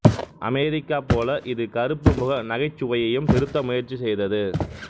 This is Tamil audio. அமெரிக்கா போல இது கருப்புமுக நகைச்சுவையையும் திருத்த முயற்சி செய்தது